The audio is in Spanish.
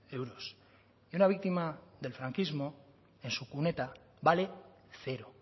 euros y una víctima del franquismo en su cuneta vale cero